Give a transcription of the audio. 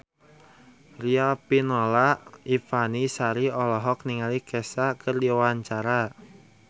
Riafinola Ifani Sari olohok ningali Kesha keur diwawancara